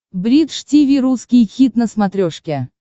бридж тиви русский хит на смотрешке